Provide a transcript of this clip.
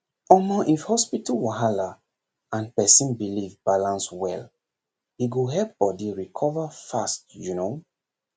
omor if hospital wahala and person belief balance well e go help body recover fast you know